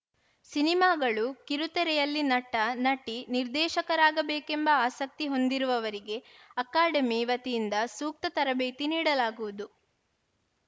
ಸಿನಿಮಾಗಳು ಕಿರುತೆರೆಯಲ್ಲಿ ನಟ ನಟಿ ನಿರ್ದೇಶಕರಾಗಬೇಕೆಂಬ ಆಸಕ್ತಿ ಹೊಂದಿರುವವರಿಗೆ ಅಕಾಡೆಮಿ ವತಿಯಿಂದ ಸೂಕ್ತ ತರಬೇತಿ ನೀಡಲಾಗುವುದು